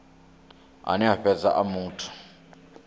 ane a fhedza a muthu